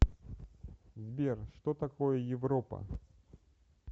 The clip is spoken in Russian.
сбер что такое европа